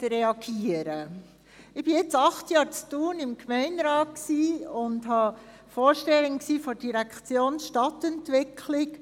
Ich bin seit acht Jahren in Thun im Gemeinderat und bin Vorsteherin der Direktion Stadtentwicklung.